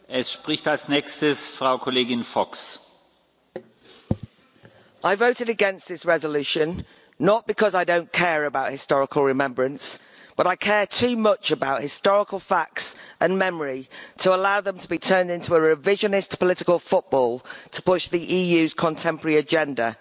Mr President, I voted against this resolution not because I don't care about historical remembrance, but I care too much about historical facts and memory to allow them to be turned into a revisionist political football to push the EU's contemporary agenda.